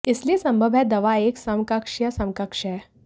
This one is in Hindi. इसलिए यह संभव है दवा एक समकक्ष या समकक्ष है